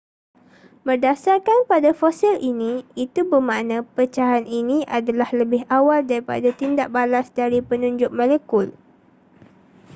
berdasarkan pada fosil ini itu bermakna pecahan ini adalah lebih awal daripada tindak balas dari penunjuk molekul